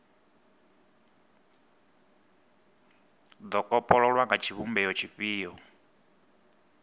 do kopololwa nga tshivhumbeo tshifhio